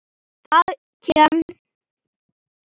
Það kem